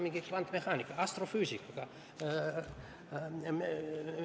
Kuidas on kvantmehaanika ja astrofüüsikaga?